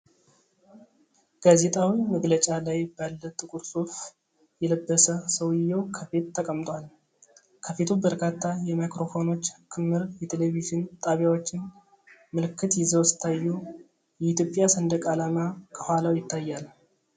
ጋዜጣዊ መግለጫ ላይ ባለ ጥቁር ሱፍ የለበሰ ሰውየው ከፊት ተቀምጧል። ከፊቱ በርካታ የማይክሮፎኖች ክምር የቴሌቪዥን ጣቢያዎችን ምልክት ይዘው ሲታዩ የኢትዮጵያ ሰንደቅ ዓላማ ከኋላው ይታያል።